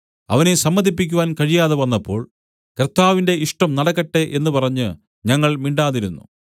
അവനെ സമ്മതിപ്പിക്കാൻ കഴിയാതെവന്നപ്പോൾ കർത്താവിന്റെ ഇഷ്ടം നടക്കട്ടെ എന്ന് പറഞ്ഞ് ഞങ്ങൾ മിണ്ടാതിരുന്നു